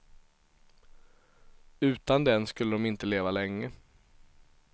Utan den skulle de inte leva länge.